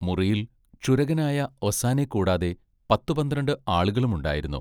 മുറിയിൽ ക്ഷുരകനായ ഒസ്സാനെക്കൂടാതെ പത്തുപന്ത്രണ്ട് ആളുകളുമുണ്ടായിരുന്നു.